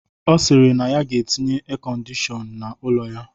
Ọ sịrị na ya ga-etinye erkọndishọn n'ụlọ ya